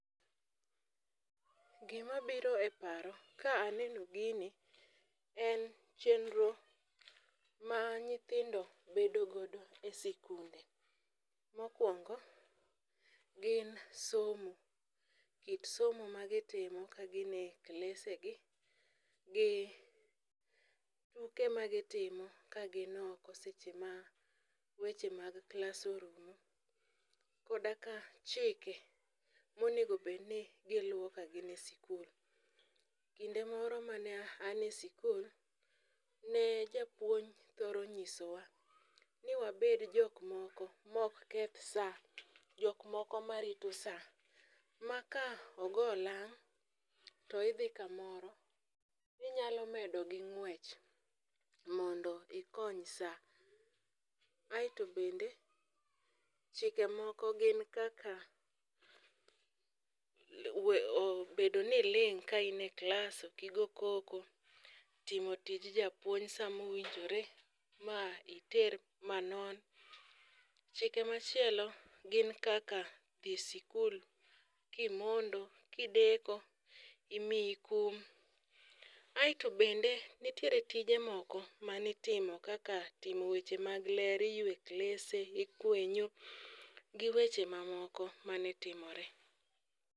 Gimabiro e paro ka aneno gini en chenro ma nyithindo bedo godo e sikunde. Mokwongo , gin somo kit somo ma gitimo kagin e klese gi gi tuke ma gitimo ka gi ok seche ma weche mag klas orumo , koda ka chike monego bed ni giluwo ka gin e sikul. Kinde moro mane an e sikul ne japuonj thoro nyiso wa ni wabed jok moko mok keth saa, jok moko marito saa ma kogo oang' to idhi kamoro inyalo medo gi ng'wech mondo ikony saa. Aeto bende chike moko gin kaka bedo ni iling' ka in e klas ok igo koko timo tij japuonj saa mowinjore ma iter manon. Chike machielo gin kaka dhi sikul kimondo kideko imiyo kum aeto ede nitiere tije moko manitimo kaka timo weche mag ler iywe klese ikwenyo gi weche mamoko mane timore.